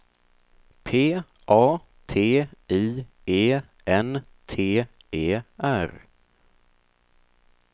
P A T I E N T E R